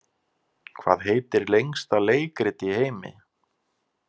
Hvað heitir lengsta leikrit í heimi.